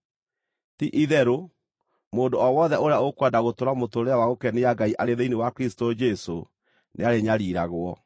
Ti-itherũ, mũndũ o wothe ũrĩa ũkwenda gũtũũra mũtũũrĩre wa gũkenia Ngai arĩ thĩinĩ wa Kristũ Jesũ nĩarĩnyariiragwo,